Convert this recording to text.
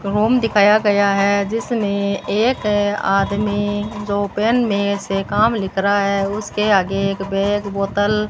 और होम दिखाया गया है जिसने एक आदमी दो पेन में से काम लिख रहा है उसके आगे एक बैग बोतल --